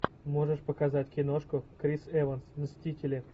можешь показать киношку крис эванс мстители